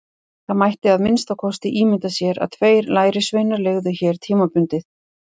Það mætti að minnsta kosti ímynda sér að tveir lærisveinar leigðu hér tímabundið.